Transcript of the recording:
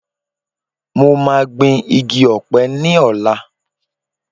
Mo máa gbìn igi Ọ̀pẹ ní ọ̀la